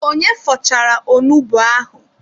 Onye fọchara onugbu ahụ?